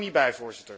Ik kan er niet bij.